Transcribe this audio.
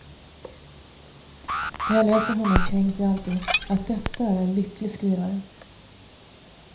När jag läser honom tänker jag alltid att detta är en lycklig skrivare.